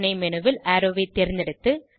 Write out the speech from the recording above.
துணைmenu ல் அரோவ் ஐ தேர்ந்தெடுத்து